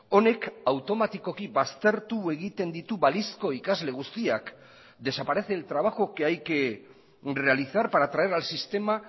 honek automatikoki baztertu egiten ditu balizko ikasle guztiak desaparece el trabajo que hay que realizar para traer al sistema